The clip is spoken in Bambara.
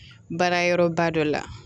Baara yɔrɔba dɔ la